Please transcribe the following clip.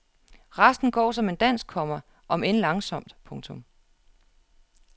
Resten går som en dans, komma om end langsomt. punktum